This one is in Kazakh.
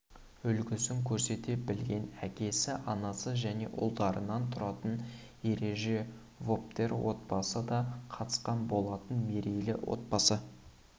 үлгісін көрсете білген әкесі анасы және ұлдарынан тұратын ережеповтер отбасы да қатысқан болатын мерейлі отбасы